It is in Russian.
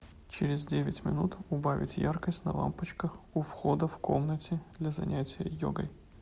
через девять минут убавить яркость на лампочках у входа в комнате для занятия йогой